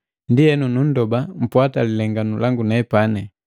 Ndienu numndoba mpwata lilenganu langu nepani.